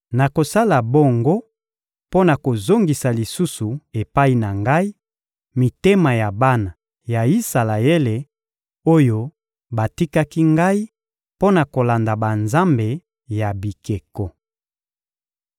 Nakosala bongo mpo na kozongisa lisusu epai na Ngai, mitema ya bana ya Isalaele oyo batikaki Ngai mpo na kolanda banzambe ya bikeko.›